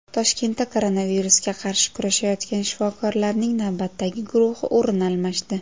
Toshkentda koronavirusga qarshi kurashayotgan shifokorlarning navbatdagi guruhi o‘rin almashdi.